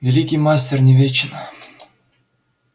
великий мастер не вечен